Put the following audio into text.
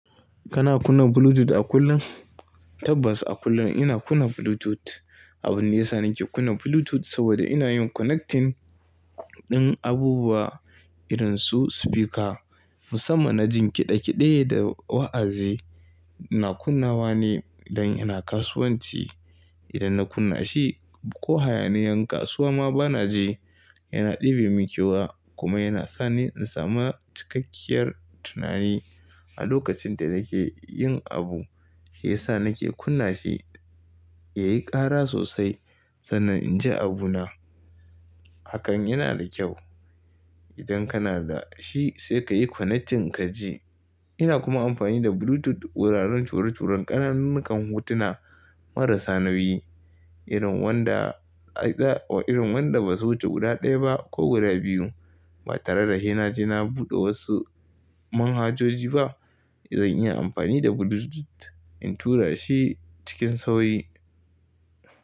Kana kunna Bluetooth a kullum? Tabbas a kullum ina kunna Bluetooth. Abun da ya sa nake kunna Bluetooth saboda ina yin connecting din abubuwa irin su speaker. Musamman na jin kiɗa kiɗe da wa'azi. Ina kunnawa ne idan ina kasuwanci. Idan na kunna shi ko hayaniyan kasuwa ma bana ji, yana ɗibe min kewa kuma yana sa ni in samu cikakkiyar tunani a lokacin da nake yin abu. Ya sa nake kunna shi ya yi ƙara sosai sannan in ji abuna. Hakan yana da kyau. Idan kana da shi sai ka yi connecting ka ji. Ina kuma amfani da Bluetooth wuraren ture-turen ƙananun kan hutuna marasa nauyi irin wanda a za irin wanda ba su wuce guda ɗaya ba ko guda biyu ba tare da hena je na buɗe wasu manhajoji ba. Zan iya amfani da Bluetooth in tura shi cikin sauri.